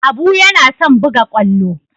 Abu yana son buga kwallo.